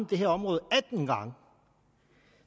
det her område atten gange